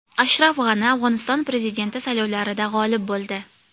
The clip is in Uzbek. Ashraf G‘ani Afg‘oniston prezidenti saylovlarida g‘olib bo‘ldi.